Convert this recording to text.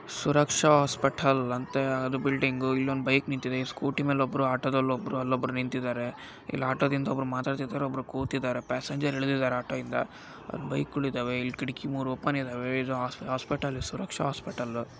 ಸುರಕ್ಷಾ hospital ಅಂತೇ ಅದು ಒಂದ್ ಬಿಲ್ಡಿಂಗ್ ಇಲ್ಲೊಂದ್ ಬೈಕ್ ನಿಂತಿದೆ ಸ್ಕೂಟಿ ಮೇಲ್ಲೊಬ್ರು ಆಟೋ ದಲ್ಲೊಬ್ರು ಅಲ್ಲೊಬ್ರು ನಿಂತಿದ್ದಾರೆ ಇಲ್ಲಿ ಆಟೋ ದಿಂದ ಒಬ್ರು ಮಾತಾಡ್ತಾಯಿದ್ದರೆ ಇದು ಹಾಸ್ಪಿಟಲ್ ಸುರಕ್ಷಾ ಹಾಸ್ಪಿಟಲ್. ಒಬ್ರು ಕೂತಿದ್ದಾರೆ ಪ್ಯಾಸೆಂಜರ್ ಇಳಿದಿದ್ದಾರೆ ಆಟೋ ದಿಂದ ಬೈಕ್ ಗಳಿದ್ದವೆ ಇಲ್ಲಿ ಕಿದಾಕಿಗಳು ಮೂರು ಓಪನ್ ಇದಾವೆ ಇದು ಹಾಸ್ಪಿಟಲ್ ಹೆಸರು ಸುರಕ್ಷಾ.